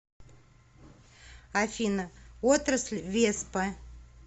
афина отрасль веспа